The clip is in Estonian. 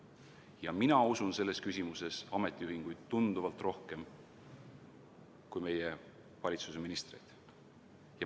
" Ja mina usun selles küsimuses ametiühinguid tunduvalt rohkem kui meie valitsuse ministreid.